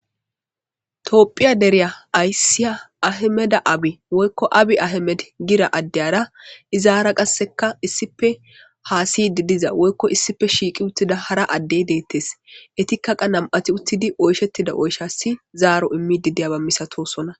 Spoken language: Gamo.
toophiya deriya aysiya ahemeda abi woykko abi ahemed gira addeyara izaara qasseka issife haasiydi diza woykko issife shiiqi uttida hara addey deettes etikkaqa nam7ati uttidi oyshettida oyshasi zaaro immidi diyaba misatosona